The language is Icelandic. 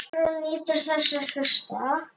Sigrún nýtur þess að hlusta.